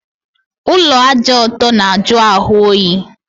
Ụlọ ájá ọtọ na ajụ ahụ oyi